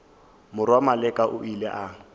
morwa maleka o ile a